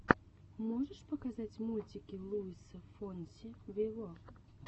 можешь показать мультики луиса фонси виво